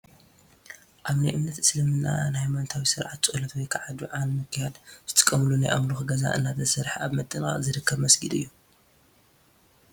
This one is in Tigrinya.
ኣብ ናይ እምነት እስልምና ንሃይማኖታዊ ስርዓት ፣ ፀሎት ወይ ከዓ ዱዓ ንምክያድ ዝጥቀምሉ ናይ ኣምልኾ ገዛ እንተሰርሐ ኣብ ምጥንቓቕ ዝርከብ መስጊድ እዩ፡፡